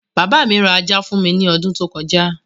Bàbá mi ra ajá fún mi ní odún tó kọjá.